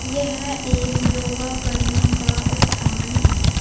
यह एक योगा करने का स्थान है।